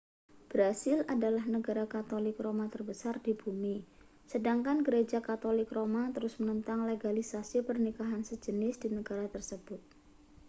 brasil adalah negara katolik roma terbesar di bumi sedangkan gereja katolik roma terus menentang legalisasi pernikahan sejenis di negara tersebut